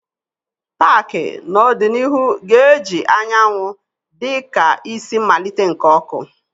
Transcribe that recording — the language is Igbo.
paaki n'ọdịnihu ga-eji anyanwụ dị ka isi mmalite nke oku.